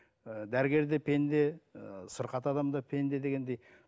ііі дәрігер де пенде ііі сырқат адам да пенде дегендей